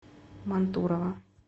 мантурово